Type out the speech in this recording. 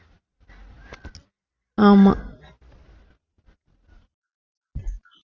ஆமாம்